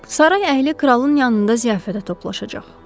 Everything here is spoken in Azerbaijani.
Saray əhli kralın yanında ziyafətə toplaşacaq.